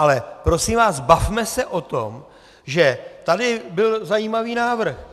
Ale prosím vás, bavme se o tom, že tady byl zajímavý návrh.